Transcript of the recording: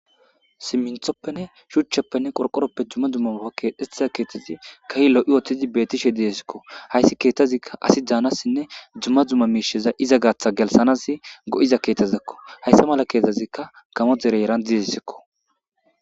siminthoppenne shuchchappenne qorqoroppe dumma dumma kehetiza keetazi kahi lo7i woothidi beetishe didesikko hayssi keettazikka asi daanassinne dzumma dzumma miisheza iza gaatha gelsanas go7iza keethazakko hayssa mala keethazikka gamo dere eran didesikko